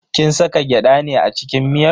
Kin saka gyada ne a cikin miyar?